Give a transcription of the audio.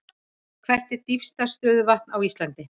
Hvert er dýpsta stöðuvatn á Íslandi?